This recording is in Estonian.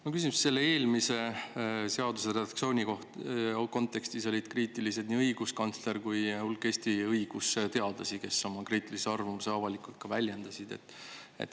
Ma küsin, selle eelmise seaduse redaktsiooni kontekstis olid kriitilised nii õiguskantsler kui hulk Eesti õigusteadlasi, kes oma kriitilise arvamuse avalikult ka väljendasid.